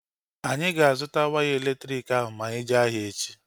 Anyị ga-azụta waya elektriki ahụ ma anyị jee ahịa echi